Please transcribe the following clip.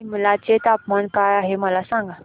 सिमला चे तापमान काय आहे मला सांगा